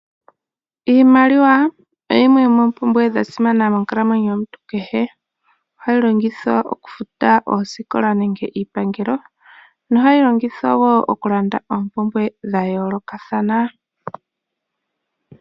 Iimaliwa oyo yimwe yomopumbwe dhasimana monkalamwenyo yomuntu kehe ohayi longithwa okufuta osikola nenge Iipangelo, no hayi longithwa wo okulanda opumbwe dhayoolokathana.